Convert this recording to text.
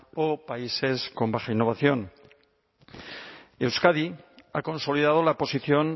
o países con baja innovación euskadi ha consolidado la posición